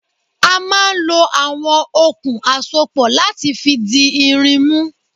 A máa ń lọ àwọn okùn àsopọ̀ láti fi di irin mú.